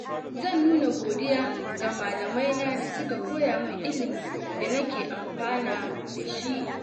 Zan nuna godiya ga malamaina da suka koya min ilimin da nake amfana da shi.